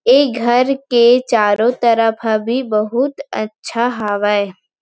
ऐ घर के चारो तरफ ह भी बहुत अच्छा हावय।